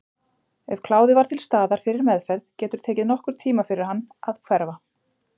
Ef kláði var til staðar fyrir meðferð getur tekið nokkurn tíma fyrir hann að hverfa.